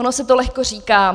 Ono se to lehko říká.